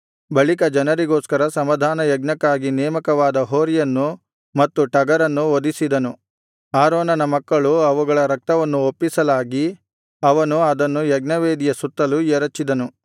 ಬಳಿಕ ಜನರಿಗೋಸ್ಕರ ಸಮಾಧಾನಯಜ್ಞಕ್ಕಾಗಿ ನೇಮಕವಾದ ಹೋರಿಯನ್ನು ಮತ್ತು ಟಗರನ್ನು ವಧಿಸಿದನು ಆರೋನನ ಮಕ್ಕಳು ಅವುಗಳ ರಕ್ತವನ್ನು ಒಪ್ಪಿಸಲಾಗಿ ಅವನು ಅದನ್ನು ಯಜ್ಞವೇದಿಯ ಸುತ್ತಲೂ ಎರಚಿದನು